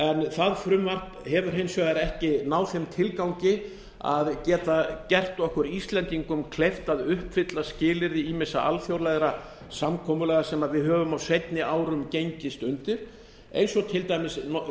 það frumvarp hefur hins vegar ekki náð þeim tilgangi að geta gert okkur íslendingum kleift að uppfylla skilyrði ýmissa alþjóðlegra samkomulaga sem við höfum á seinni árum gengist undir eins og til dæmis